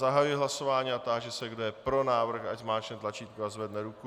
Zahajuji hlasování a táži se, kdo je pro návrh, ať zmáčkne tlačítko a zvedne ruku.